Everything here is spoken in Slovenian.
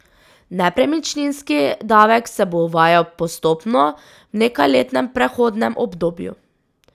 Nepremičninski davek se bo uvajal postopno, v nekajletnem prehodnem obdobju.